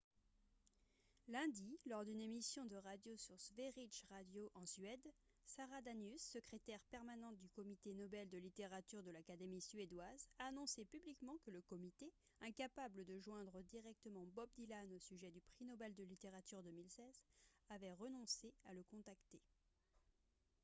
lundi lors d'une émission de radio sur sveriges radio en suède sara danius secrétaire permanente du comité nobel de littérature de l'académie suédoise a annoncé publiquement que le comité incapable de joindre directement bob dylan au sujet du prix nobel de littérature 2016 avait renoncé à le contacter